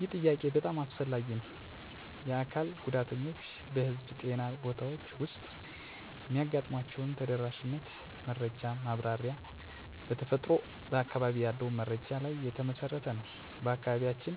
ይህ ጥያቄ በጣም አስፈላጊ ነው። የአካል ጉዳተኞች በህዝብ ጤና ቦታዎች ውስጥ የሚያጋጥሟቸውን ተደራሽነት መረጃ ማብራሪያ በተፈጥሮ በአካባቢ ያለውን መረጃ ላይ የተመሠረተ ነው። በአካባቢያችን